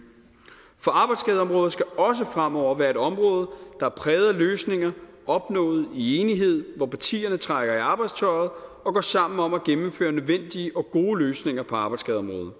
for arbejdsskadeområdet skal også fremover være et område der er præget af løsninger opnået i enighed hvor partierne trækker i arbejdstøjet og går sammen om at gennemføre nødvendige og gode løsninger på arbejdsskadeområdet